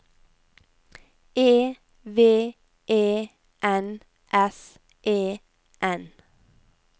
E V E N S E N